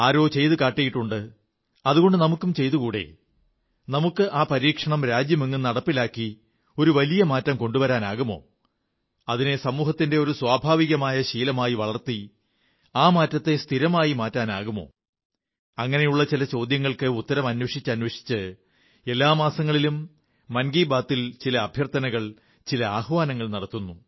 ആരോ ചെയ്തുകാട്ടിയിട്ടുണ്ട് അതുകൊണ്ട് നമുക്കും ചെയ്തുകൂടേ നമുക്ക് ആ പരീക്ഷണം രാജ്യമെങ്ങും നടപ്പിലാക്കി ഒരു വലിയ മാറ്റം കൊണ്ടുവരാനാകുമോ അതിനെ സമൂഹത്തിന്റെ ഒരു സ്വഭാവികമായ ശീലമായി വളർത്തി ആ മാറ്റത്തെ സ്ഥിരമാക്കി മാറ്റാനാകുമോ അങ്ങനെയുള്ള ചില ചോദ്യങ്ങൾക്കുത്തരം അന്വേഷിച്ചന്വേഷിച്ച് എല്ലാ മാസങ്ങളിലും മൻ കീ ബാത്തിൽ ചില അഭ്യർത്ഥനകൾ ചില ആഹ്വാനങ്ങൾ നടത്തുന്നു